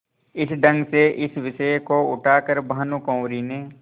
इस ढंग से इस विषय को उठा कर भानुकुँवरि ने